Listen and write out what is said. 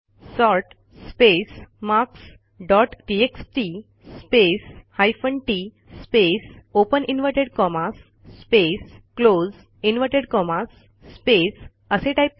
sort space marks dot TXT space hyphen TT space open inverted commas space close inverted commas space असे टाईप करा